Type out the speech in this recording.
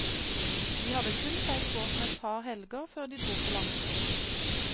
De hadde kun seilt båten et par helger før de dro på langtur.